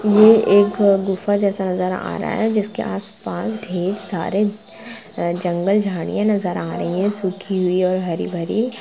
ये एक गुफा जेसा नज़र आ रहा हैं जिसके आसपास ढेर सारे जगल झाड़ियां नजर आ रही हैंसुखी और हरी भरी --